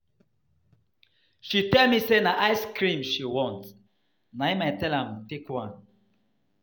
She tell me say na ice-cream she want na im I tell am take one.